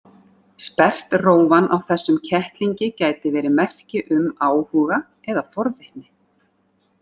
Sperrt rófan á þessum kettlingi gæti verið merki um áhuga eða forvitni.